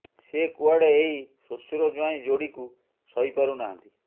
ସେ କୁଆଡେ ଏହି ଶ୍ୱଶୁର ଜ୍ୱାଇଁ ଯୋଡିକୁ ସହିପାରୁ ନାହାନ୍ତି